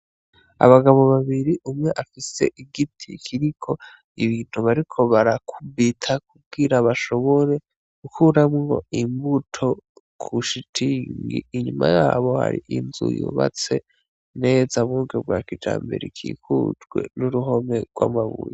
Abagabo babiri umwe afise igiti kiriko ibintu bariko barakubita kugira bashobore gukuramwo imbuto ku shitingi .inyuma yabo hari inzu yubatse neza mu buryo bwa kijambere ikikujwe n’uruhome rw’amabuye .